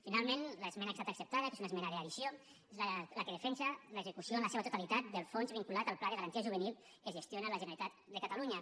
finalment l’esmena que ha estat acceptada que és una esmena d’addició és la que defensa l’execució en la seva totalitat del fons vinculat al pla de garantia juvenil que gestiona la generalitat de catalunya